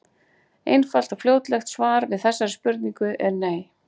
Einfalt og fljótlegt svar við þessari spurningu er nei.